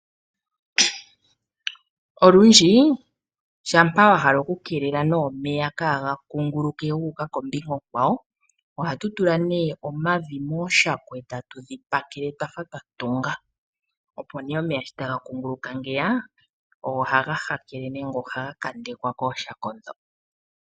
Olundji shampa wa hala oku kelela omeya ka ga kunguluke guka kombinga onkwawo, oha tu tula omavi mooshako eta tu dhipakele dhafa dha tungwa opo ngele omeya ta ga kunguluka ota ga hakele mooshako.